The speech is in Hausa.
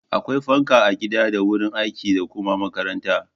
Akwai fanka a gida da wurin aiki da kuma makaranta.